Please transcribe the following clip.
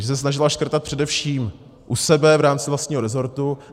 Že se snažila škrtat především u sebe v rámci vlastního resortu.